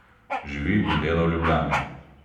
Živi in dela v Ljubljani.